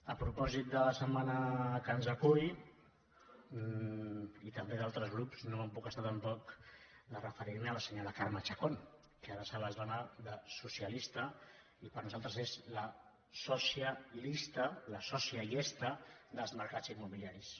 a propòsit de la setmana que ens acull i també d’altres grups no em puc estar tampoc de referir me a la senyora carme chacón que ara se les dóna de socialista i per nosaltres és la sòcia lista la sòcia llesta dels mercats immobiliaris